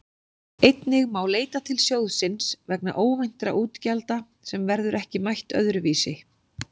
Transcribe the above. Einnig má leita til sjóðsins vegna óvæntra útgjalda sem verður ekki mætt öðru vísi.